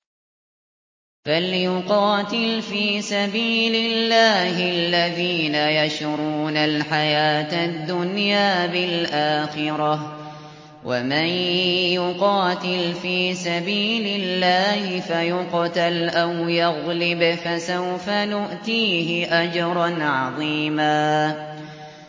۞ فَلْيُقَاتِلْ فِي سَبِيلِ اللَّهِ الَّذِينَ يَشْرُونَ الْحَيَاةَ الدُّنْيَا بِالْآخِرَةِ ۚ وَمَن يُقَاتِلْ فِي سَبِيلِ اللَّهِ فَيُقْتَلْ أَوْ يَغْلِبْ فَسَوْفَ نُؤْتِيهِ أَجْرًا عَظِيمًا